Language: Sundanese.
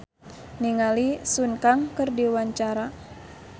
Benny Likumahua olohok ningali Sun Kang keur diwawancara